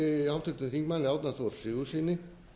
háttvirtum þingmanni árna þór sigurðssyni